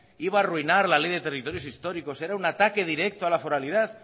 iba arruinar la ley de territorios históricos era un ataque directo a la foralidad